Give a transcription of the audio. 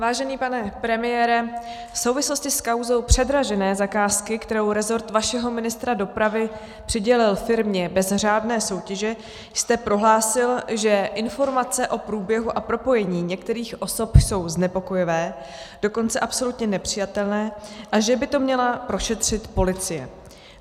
Vážený pane premiére, v souvislosti s kauzou předražené zakázky, kterou rezort vašeho ministra dopravy přidělil firmě bez řádné soutěže, jste prohlásil, že informace o průběhu a propojení některých osob jsou znepokojivé, dokonce absolutně nepřijatelné, a že by to měla prošetřit policie.